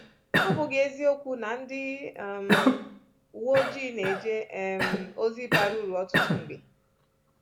Ọ̀ bụghị eziokwu na ndị um uwe ojii na-eje um ozi bara uru ọtụtụ mgbe?